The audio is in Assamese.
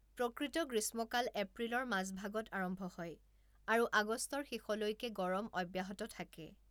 প্ৰকৃত গ্ৰীষ্মকাল এপ্ৰিলৰ মাজভাগত আৰম্ভ হয় আৰু আগষ্টৰ শেষলৈকে গৰম অব্যাহত থাকে।